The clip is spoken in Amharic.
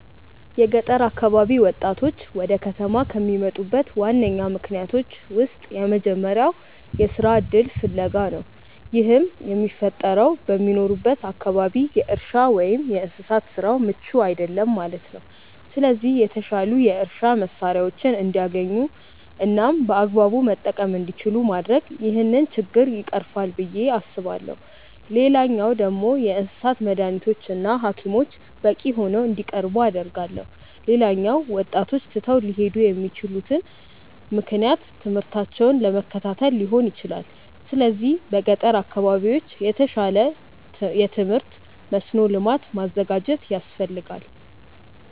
የገጠር አካባቢ ወጣቶች ወደ ከተማ ከሚመጡበት ዋነኛ ምክንያቶች ውስጥ የመጀመሪያው የስራ እድል ፍለጋ ነው። ይህም የሚፈጠረው በሚኖሩበት አካባቢ የእርሻ ወይም የእንስሳት ስራው ምቹ አይደለም ማለት ነው። ስለዚህ የተሻሉ የእርሻ መሳሪያዎችን እንዲያገኙ እናም በአግባቡ መጠቀም እንዲችሉ ማድረግ ይህንን ችግር ይቀርፋል ብዬ አስባለሁ። ሌላኛው ደግሞ የእንስሳት መዳኒቶች እና ሀኪሞች በቂ ሆነው እንዲቀርቡ አደርጋለሁ። ሌላኛው ወጣቶች ትተው ሊሄዱ የሚችሉበት ምክንያት ትምህርታቸውን ለመከታተል ሊሆን ይችላል። ስለዚህ በገጠር አካባቢዎች የተሻለ የትምህርት መስኖ ልማት ማዘጋጀት ያስፈልጋል።